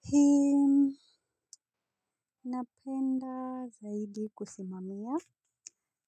Hii napenda zaidi kusimamia.